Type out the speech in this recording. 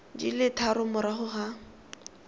di le tharo morago ga